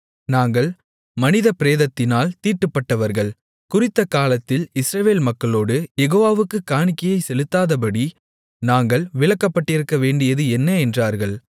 நாங்கள் மனித பிரேதத்தினால் தீட்டுப்பட்டவர்கள் குறித்த காலத்தில் இஸ்ரவேல் மக்களோடு யெகோவாவுக்குக் காணிக்கையைச் செலுத்தாதபடி நாங்கள் விலக்கப்பட்டிருக்கவேண்டியது என்ன என்றார்கள்